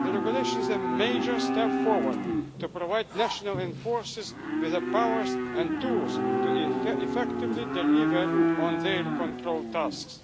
The regulation is a major step forward to provide national enforcers with the powers and tools to effectively deliver on their control tasks.